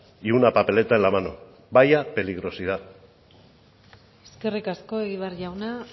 y una papeleta en la mano vaya peligrosidad eskerrik asko egibar jauna